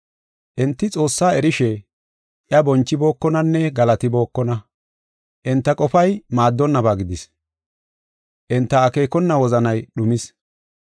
Enti Xoossaa erishe, iya bonchibookonanne galatibookona. Enta qofay maaddonnaba gidis; enta akeekona wozanay dhumis.